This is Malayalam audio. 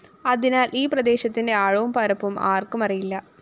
അതിനാല്‍ ഈ പ്രദേശത്തിന്റെ ആഴവും പരപ്പും ആര്‍ക്കും അറിയില്ല